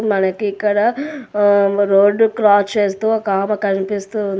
మనకి ఇక్కడ ఆమ్ రోడ్డు క్రాస్ చేస్తూ ఒకామె కనిపిస్తూ ఉంది.